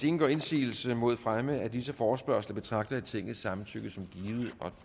ingen gør indsigelse mod fremme af disse forespørgsler betragter jeg tingets samtykke som givet